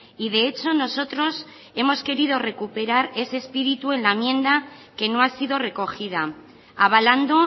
y de hecho nosotros hemos querido recuperar ese espíritu en la enmienda que no ha sido recogida avalando